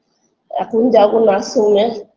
এখন যাবো nursing home -এ